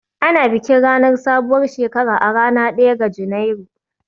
Ana bikin ranar sabuwar shekara a ranar ɗaya ga Janairu